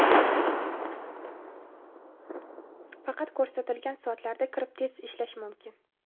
Faqat ko‘rsatilgan soatlarda kirib test ishlash mumkin.